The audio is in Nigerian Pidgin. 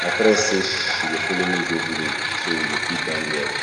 my friend say she go follow me go village so we go fit bond well